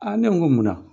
ne ko n ko munna